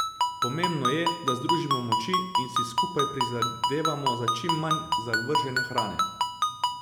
Pomembno je, da združimo moči in si skupaj prizadevamo za čim manj zavržene hrane.